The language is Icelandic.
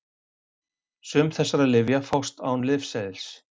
Sum þessara lyfja fást án lyfseðils.